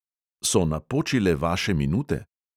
So napočile vaše minute?